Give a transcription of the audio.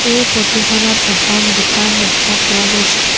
এই ফটোখনত এখন দোকান দেখা পোৱা গৈছে।